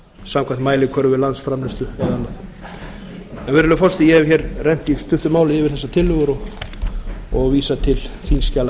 samkvæmt mælikvörðum landsframleiðslu eða annað virðulegi forseti ég hef í stuttu máli rennt yfir þessar tillögur og vísa til þingskjala